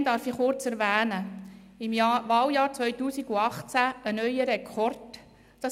Allgemein darf ich kurz erwähnen, dass es im Wahljahr 2018 einen Rekord gab: